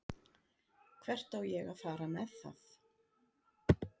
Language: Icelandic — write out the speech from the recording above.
Hvert á ég að fara með það?